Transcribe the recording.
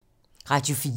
Radio 4